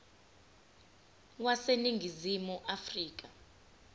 wase ningizimu afrika